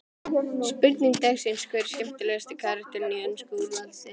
Spurning dagsins er: Hver er skemmtilegasti karakterinn í ensku úrvalsdeildinni?